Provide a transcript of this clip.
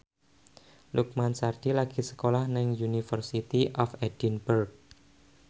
Lukman Sardi lagi sekolah nang University of Edinburgh